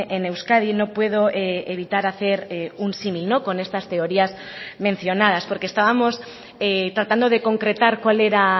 en euskadi no puedo evitar hacer un símil con estas teorías mencionadas porque estábamos tratando de concretar cuál era